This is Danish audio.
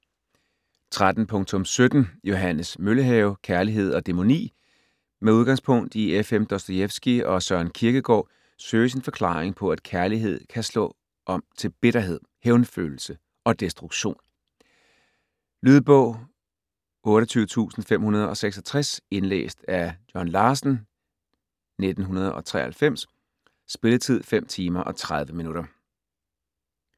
13.17 Møllehave, Johannes: Kærlighed og dæmoni Med udgangspunkt i F.M. Dostojevskij og Søren Kierkegaard søges en forklaring på at kærlighed kan slå om til bitterhed, hævnfølelse og destruktion. Lydbog 28566 Indlæst af John Larsen, 1993. Spilletid: 5 timer, 30 minutter.